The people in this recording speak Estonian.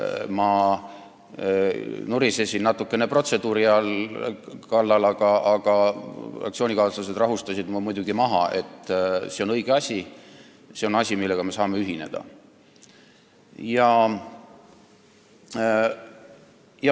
Ma nurisesin natukene protseduuri kallal, aga fraktsioonikaaslased rahustasid mu muidugi maha – see on õige asi ja see on asi, millega me saame ühineda.